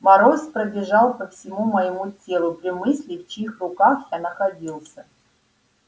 мороз пробежал по всему моему телу при мысли в чьих руках я находился